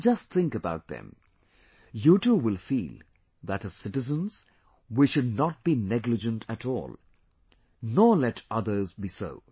Just think about them... you too will feel that as citizens, we should not be negligent at all; nor let others be so